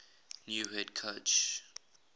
new head coach